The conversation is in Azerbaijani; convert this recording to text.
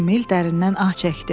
Emil dərindən ah çəkdi.